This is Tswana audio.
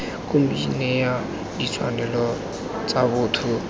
khomišene ya ditshwanelo tsa botho